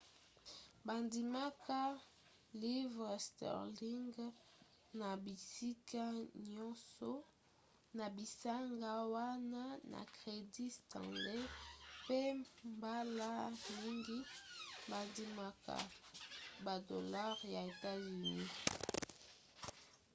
bandimaka livres sterling na bisika nyonso na bisanga wana na crédit stanley mpe mbala mingi bandimaka badolare ya etats-unis